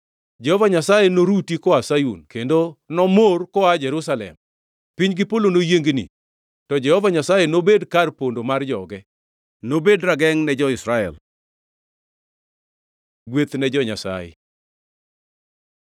Jehova Nyasaye noruti koa Sayun kendo nomor koa Jerusalem. Piny gi Polo noyiengni; to Jehova Nyasaye nobed kar pondo mar joge; nobed ragengʼ ne jo-Israel. Gweth ne jo-Nyasaye